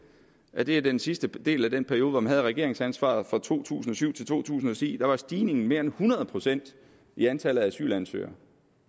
at i den sidste del af den periode hvor man havde regeringsansvaret fra to tusind og syv til to tusind og ti var stigningen mere end hundrede procent i antallet af asylansøgere